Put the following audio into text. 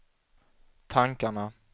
tankarna